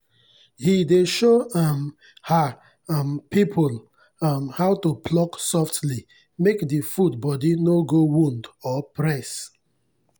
he dey show um her um people um how to pluck softly make the food body no go wound or press.